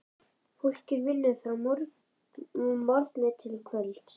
Fólkið vinnur frá morgni til kvölds.